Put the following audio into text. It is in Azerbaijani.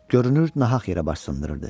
Görünür, nahaq yerə baş sındırırdı.